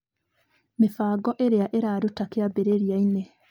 Mĩbango ĩrĩa ĩraruta kĩambĩrĩria-inĩ.